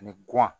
Ani